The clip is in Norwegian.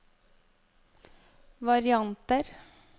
varianter